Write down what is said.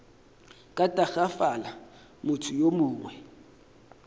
ka tagafala motho yo mongwe